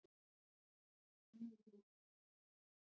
Svea, hvað er í matinn á föstudaginn?